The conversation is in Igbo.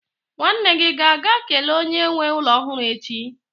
nwanne gi ga-aga kele onye nwe ulo ohuru echi?